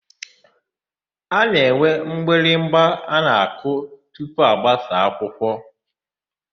A na-enwe mgbịrịgba nke a na-akụ tupu agbasa akwụkwọ.